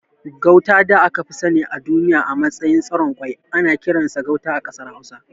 Gauta da aka fi sani a duniya a matsayin tsiron kwai ana kiransa Gauta a ƙasar Hausa.